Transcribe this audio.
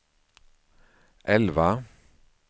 elva